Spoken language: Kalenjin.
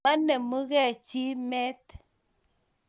Menemugei chi met.